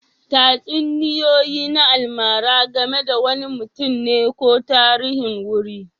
Tatsuniyoyi na almara game da wani mutum ne ko tarihin wuri